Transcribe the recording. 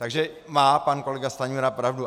Takže má pan kolega Stanjura pravdu.